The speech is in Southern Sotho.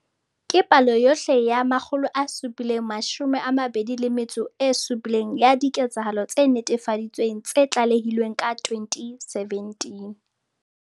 Ke palo yohle ya 727 ya diketsahalo tse netefaditsweng tse tlalehilweng ka 2017.